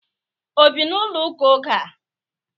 Obi na ulo uka ogea?